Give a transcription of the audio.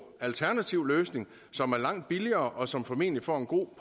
alternativ løsning som er langt billigere og som formentlig får en god